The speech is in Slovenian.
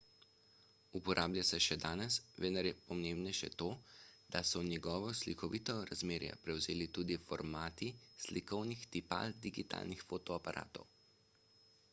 uporablja se še danes vendar je pomembnejše to da so njegovo slikovno razmerje prevzeli tudi formati slikovnih tipal digitalnih fotoaparatov